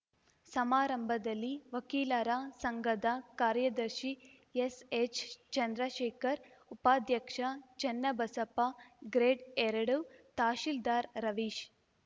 ಸಮಾರಂಭದಲ್ಲಿ ವಕೀಲರ ಸಂಘದ ಕಾರ್ಯದರ್ಶಿ ಎಸ್ಎಚ್ ಚಂದ್ರಶೇಖರ್ ಉಪಾಧ್ಯಕ್ಷ ಚನ್ನಬಸಪ್ಪ ಗ್ರೇಡ್ಎರಡು ತಹಶೀಲ್ದಾರ್ ರವೀಶ್